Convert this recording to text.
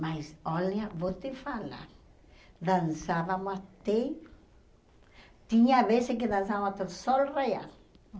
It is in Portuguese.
Mas olha, vou te falar, dançávamos até... Tinha vezes que dançávamos até o sol raiar.